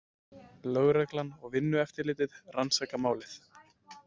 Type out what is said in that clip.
Lögreglan og Vinnueftirlitið rannsaka málið